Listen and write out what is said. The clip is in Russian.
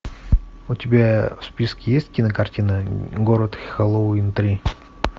у тебя в списке есть кинокартина город хеллоуин три